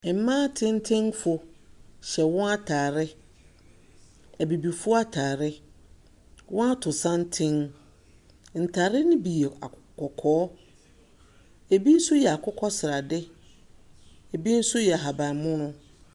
Mbaa tenten fo hyɛ wɔn ataare. Ebibifoɔ ataare, wɔn ato santen. Ntar ne bi yɛ kɔkɔɔ, ebi so yɛ akokɔsrade, ebi so yɛ ahabanmono.